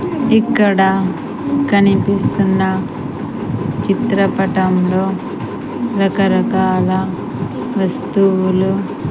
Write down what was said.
ఇక్కడ కనిపిస్తున్న చిత్ర పటంలో రక రకాల వస్తువులు--